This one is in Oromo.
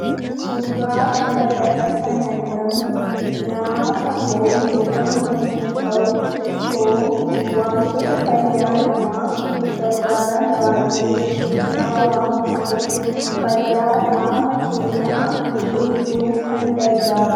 Suuraa kanarratti kan argamu nyaata foon jedhamu yommuu ta'u, foon wantoota fayyaa namaaf gargaaran baay'ee of keessaa waan qabuuf fayyaa qaama keenyaa eeguuf kan gargaarudha.